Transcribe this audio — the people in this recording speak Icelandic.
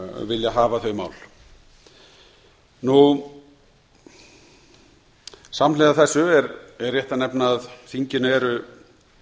vilja hafa þau mál samhliða þessu er rétt að nefna að þinginu eru